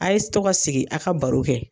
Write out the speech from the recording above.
A' ye to ka sigi, a ka baro kɛ.